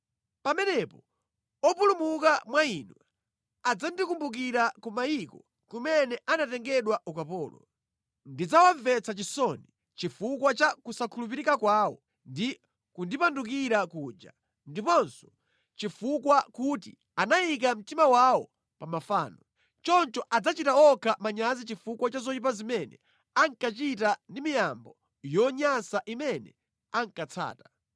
Pamenepo opulumuka mwa inu adzandikumbukira ku mayiko kumene anatengedwa ukapolo. Ndidzawamvetsa chisoni chifukwa cha kusakhulupirika kwawo ndi kundipandukira kuja ndiponso chifukwa kuti anayika mtima wawo pa mafano. Choncho adzachita okha manyazi chifukwa cha zoyipa zimene ankachita ndi miyambo yonyansa imene ankatsata.